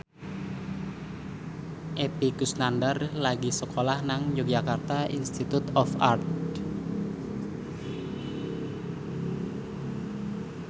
Epy Kusnandar lagi sekolah nang Yogyakarta Institute of Art